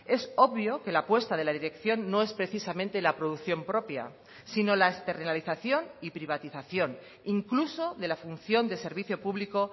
es obvio que la apuesta de la dirección no es precisamente la producción propia sino la externalización y privatización incluso de la función de servicio público